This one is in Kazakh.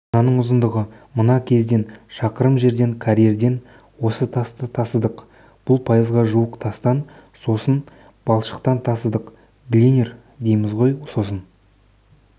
мынаның ұзындығы мына кезден шақырым жерден карьердан осы тасты тасыдық бұл пайызға жуық тастан сосын балшықтан тасыдық глинер дейміз ғой сосын